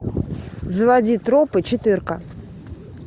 заводи тропы четырка